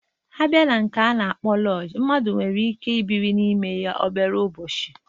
Abịa na nke a na-akpọ lọjii, mmadụ nwere ike ibi n'ime ya obere ụbọchị